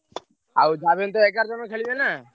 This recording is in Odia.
ଆଉ ଯାହାବି ହେଲେ ଏଗାର ଜଣ ଖେଳିବେ ନାଁ।